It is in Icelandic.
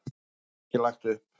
En það var ekki lagt upp.